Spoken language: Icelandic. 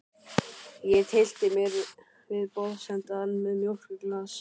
Ég tyllti mér við borðsendann með mjólkurglas.